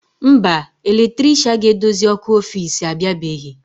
Mba, eletrisha ga-edozi ọkụ ọfici abịabeghị.